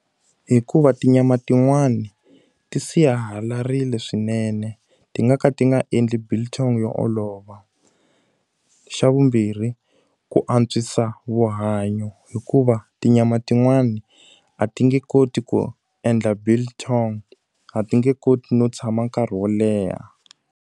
Hikuva tinyama tin'wani ti sihalarile swinene ti nga ka ti nga endli biltong yo olova. Xa vumbirhi ku ku antswisa vuhanyo, hikuva tinyama tin'wani a ti nge koti ku endla biltong, a ti nge koti no tshama nkarhi wo leha.